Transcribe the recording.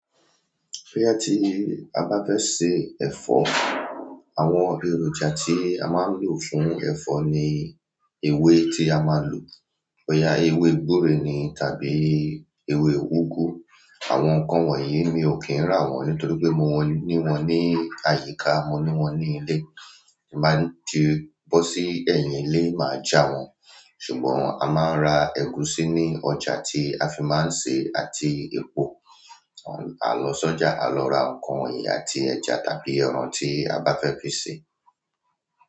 Bí a ti, a bá fẹ́ se ẹ̀fọ́, àwọn èròjà tí a máa ń lò fún ẹ̀fọ́ ni ewé tí a máa lò. Ọ̀yà ewé gbúre ni tàbí ewé úgú. Àwọn nǹkan wọ̀nyí mi ò kí ń rà wọ́n nítorí pé mo ní wọ́n ní àyíká, mo ní wọ́n ní ilé. Mo bá ń ti bọ́ sí ẹ̀yìn ilé máa já wọn. Ṣùgbọ́n a máa ń ra ẹ̀gúsí ní ọjà tí a fi máa ń ṣe àti epo. A lọ sọ́jà, a lọ ra nǹkan wọ̀nyí àti ẹja tàbí ẹran tí a bá fẹ́ fi ṣe.